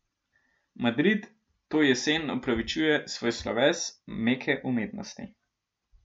Madrid to jesen upravičuje svoj sloves meke umetnosti.